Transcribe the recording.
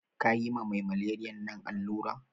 Kayi ma mai maleriyan nan allura?